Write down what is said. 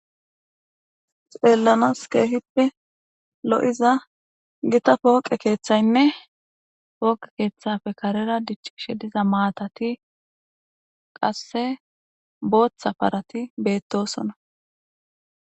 Xeelanas keehippe lo'iza gita pooqe keeththaynne pooqe keeththappe karera diccishe diza maatazi qasse bootha parati beetosona.